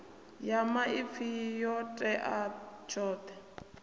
ya maipfi yo tea tshoṱhe